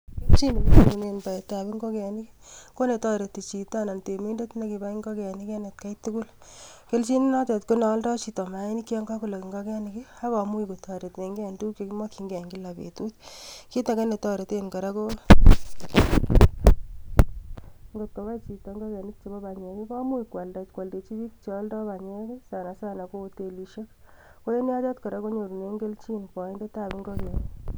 Kelchen nenyorchingei baetab ingokenik, chito anan temindet nekabai ingokenik eng atkai tukuk. Kelchinet notok ko nealdoi maainik yon kakolog ingokenik akomuch kotoretengei eng tukuk makchingei kila betut. Kit age ne toreten kora konam ingokaik chebo panyek komuch koaldechin pik chealdoi panyek anan ko otelishek. Ko yok anyu konyorchingei boindetab ingokenik.